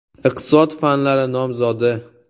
Iqtisod fanlari nomzodi.